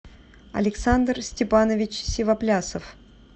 александр степанович сивоплясов